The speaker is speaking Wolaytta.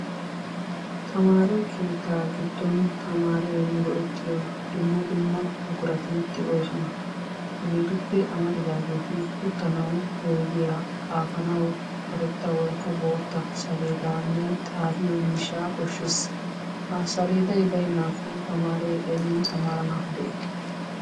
Tammare kettaa gidon tammare go'ettiyoo dumma dumma buquratti de'ossonna hegettuppe amariddagetta, hegetti uttanawu oyidiyaa, xaffanawi karrettta woyko bottaa salledanne, xafiyoo mishsha koshees.ha salleday baynakko tammaree aybinni tammaranawu de'i.